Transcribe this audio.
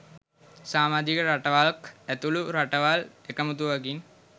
සාමාජික රටවල්ක් ඇතුළු රටවල් එකමුතුවකින්